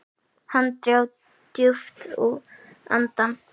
Hann dró djúpt andann.